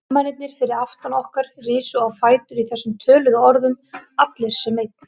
Hermennirnir fyrir aftan okkur risu á fætur í þessum töluðum orðum, allir sem einn.